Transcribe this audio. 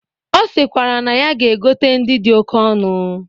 Ọ sikwara na ya ga-egote ndị dị oke ọnụ.